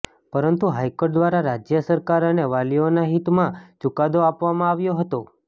પરંતુ હાઈકોર્ટ દ્વારા રાજ્ય સરકાર અને વાલીઓના હિત માં ચુકાદો આપવામાં આવ્યો હતો